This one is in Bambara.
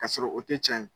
Ka sɔrɔ o tɛ cɛn ye